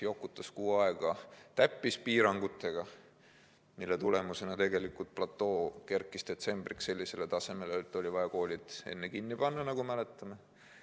Jokutati kuu aega täppispiirangutega, mille tagajärjel platoo kerkis detsembriks sellisele tasemele, et oli vaja koolid kinni panna, nagu me mäletame.